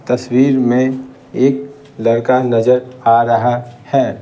तस्वीर में एक लड़का नजर आ रहा है।